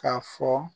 K'a fɔ